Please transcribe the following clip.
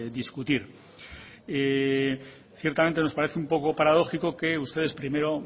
discutir ciertamente nos parece un poco paradójico que ustedes primero